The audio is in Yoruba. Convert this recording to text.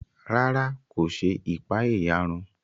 Ràrá, ko ṣe ipaeyarun